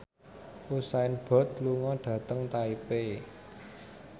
Usain Bolt lunga dhateng Taipei